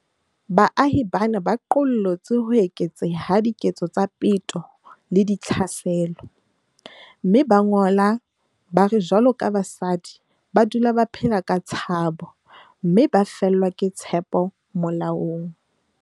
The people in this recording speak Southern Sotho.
Baahi bana ba qollotse ho eketseha ha diketso tsa peto le ditlhaselo, mme ba ngola ba re jwaloka basadi ba dula ba phela ka tshabo, mme ba fellwa ke tshepo molaong.